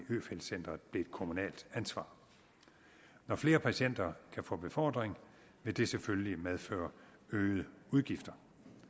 på øfeldt centret blev et kommunalt ansvar når flere patienter kan få befordring vil det selvfølgelig medføre øgede udgifter